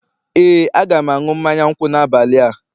Ee, a ga m aṅụ mmanya nkwụ n'abalị a